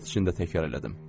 Hiddət içində təkrarladım.